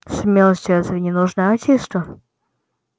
смелость разве не нужна артисту